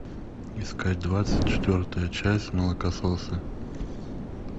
искать двадцать четвертая часть молокососы